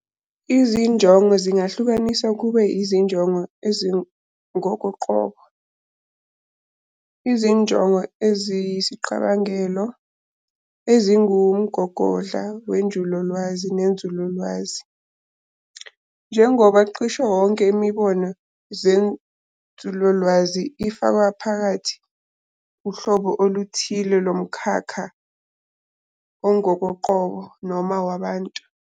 Izinjongo zingahlukaniswa kube izinjongo ezingokoqobo, izinongo eziyisicabangelo, eziwumgogodla wenjulalwazi nenzululwazi, njengoba cisho yonke imibono yenzululwazi ifaka phakathi uhlobo oluthile lomkhakha ongokoqobo noma wabantu.